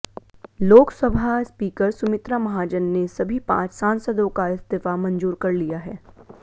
Lok Sabha speaker Sumitra Mahajan ने सभी पांच सांसदों का इस्तीफा मंजूर कर लिया है